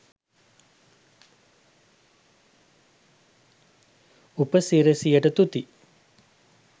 උපසිරැසියට තුති